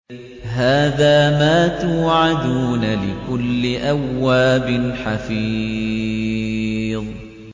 هَٰذَا مَا تُوعَدُونَ لِكُلِّ أَوَّابٍ حَفِيظٍ